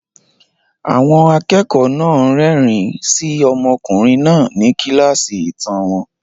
Àwọn akẹ́kọ̀ọ́ náà ń rẹ́rìn-ín sí ọmọkùnrin náà ní kíláàsì ìtàn wọn.